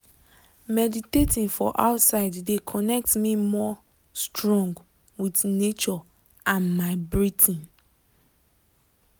meditating for outside de connect me more strong with nature and my breathing.